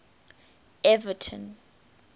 everton